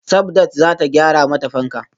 Sabdat zata gyara mata fanka